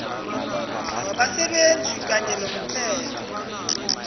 wabasebenzi kanye nomthelo